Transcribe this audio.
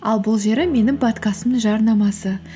ал бұл жері менің подкастымның жарнамасы